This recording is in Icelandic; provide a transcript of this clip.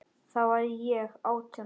Þá var ég átján ára.